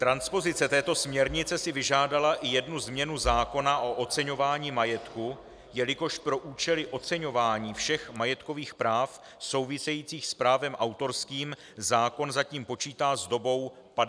Transpozice této směrnice si vyžádala i jednu změnu zákona o oceňování majetku, jelikož pro účely oceňování všech majetkových práv souvisejících s právem autorským zákon zatím počítá s dobou 50 let.